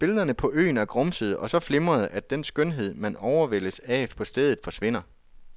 Billederne fra øen er grumsede og så flimrende, at den skønhed, man overvældes af på stedet, forsvinder.